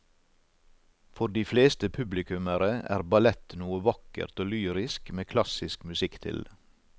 For de fleste publikummere er ballett noe vakkert og lyrisk med klassisk musikk til.